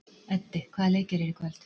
Eddi, hvaða leikir eru í kvöld?